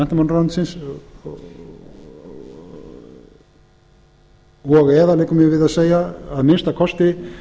menntamálaráðuneytisins og eða liggur mér við að segja að minnsta kosti